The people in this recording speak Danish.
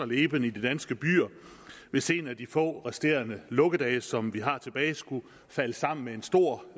leben i de danske byer hvis en af de få resterende lukkedage som vi har tilbage skulle falde sammen med en stor